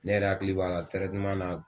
Ne yɛrɛ hakili b'a la na